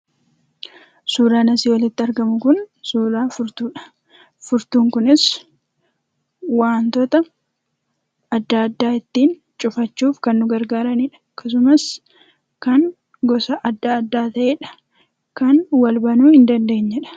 Asirratti kan argaa jirru kunimmoo suuraa furtuudha. Furtuun kunis wantoota adda addaa ittiin cufachuuf kan nu gargaaranidha. Akkasumas kan gosa adda addaa ta'edha. Kan wal banuu hin dandeenyedha.